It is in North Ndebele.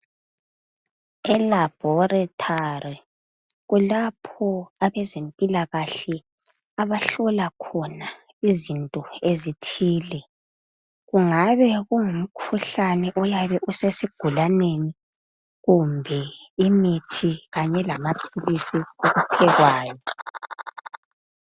Elabhorethari kulapho abezempilakahle abahlola khona izinto ezithile. Kungabe kungumkhuhlane oyabe usesigulaneni, kumbe imithi kanye lalapho